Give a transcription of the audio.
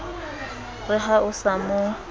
re ha o sa mo